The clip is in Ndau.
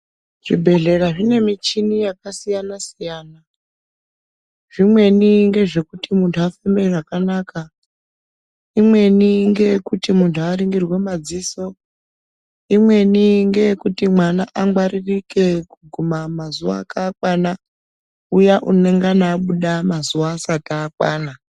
Zvibhedhlera zvine michini yakasiyana siyana. Zvimweni ngezve kuti munhu afeme zvakanaka, imweni ngeye .kuti munhu aringirwe madziso, imweni ngeye kuti mwana angwaririke kuguma mazuwa ake akwana, uya unongana abuda mazuwa asati akwana.